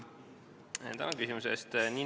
Tänan küsimuse eest!